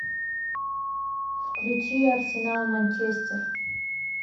включи арсенал манчестер